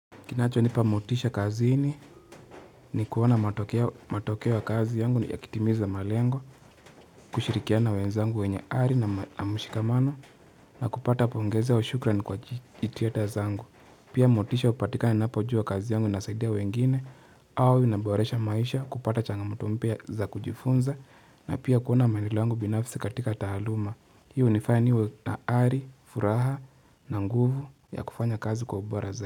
Kinacho nipa motisha kazini ni kuona matokea ya kazi yangu ni yakitimiza malengo, kushirikiana na wenzangu wenye ari na mshikamano na kupata pongeze wa shukrani kwa jitihada zangu. Pia motisha kupatikana napo juwa kazi yangu inasaidia wengine au inaboresha maisha kupata changamoto mpya za kujifunza na pia kuona maendeleo yangu binafsi katika tahaluma. Hii hunifanya niwe na ari, furaha na nguvu ya kufanya kazi kwa ubora za.